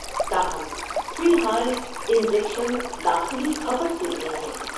تاہم، فی الحال، انجکشن داخلی کھپت کے لئے ہیں۔